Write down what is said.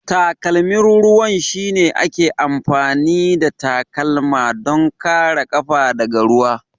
Takalmin ruwan shine ake amfani da takalma don kare ƙafa daga ruwa.